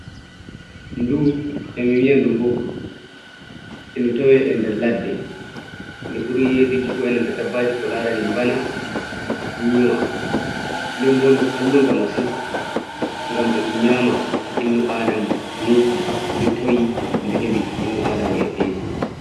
Ndu emi wiya ɗum Mbogru e ndu tawe e nder ladde nde ɓuri yeduki bo'e nanta dabbaji ko larani Mbana, Nyiwa nden bo ndu kalluga masin ngam e ɗum nyama innu adama to ni ndi tawi ndu hebi innu adama e fesi.